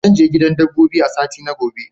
Zan je gidan dabbobi a sati na gaba.